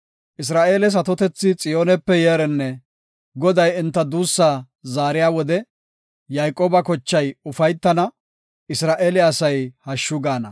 Isra7eeles atotethi Xiyoonepe yeerenne! Goday enta duussa zaariya wode, Yayqooba kochay ufaytana; Isra7eele asay hashshu gaana.